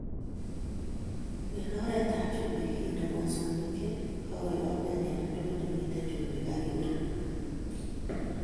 Eng oretab chumbik ,inde mosongik che kakoyomyo eng ndoit nemitei chumbik akiburuch